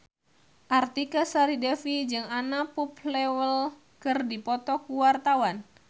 Artika Sari Devi jeung Anna Popplewell keur dipoto ku wartawan